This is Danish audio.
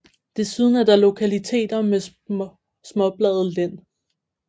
Desuden er der lokaliteter med småbladet lind